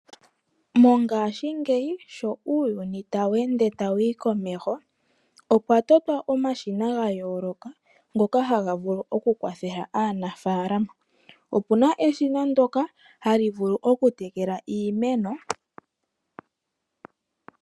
Mongaashingeyi sho uuyuni tawu ende tawu yi komeho, opwa totwa omashina ga yooloka ngoka haga vulu oku kwathela aanafaalama. Opu na eshina ndoka hali vulu okutekela iimeno.